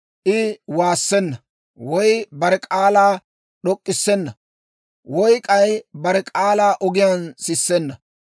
I waassenna; woy bare k'aalaa d'ok'k'issenna; woy k'ay bare k'aalaa ogiyaan sissenna.